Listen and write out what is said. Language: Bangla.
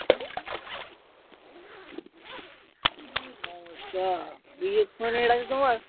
কি সমস্যা? বলছি ফোনে net আছে তোমার?